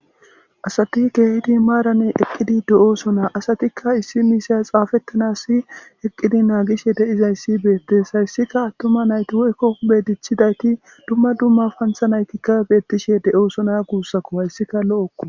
Asati keehid maran eqid de'osona, asatika issi miisha xafetanasi eqid nagishe de'izaysi betes, haysika atuma nayti woyko huphe duchidayt dumma dummaba pantha naytika betishe de'osona guusako, haysika lo'oko